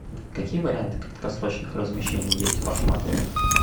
какие варианты краткосрочных размещений есть в вашем отеле